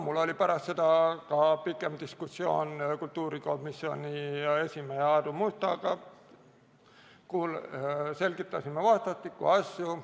Mul oli pärast seda ka pikem diskussioon kultuurikomisjoni esimehe Aadu Mustaga, selgitasime vastastikku asju.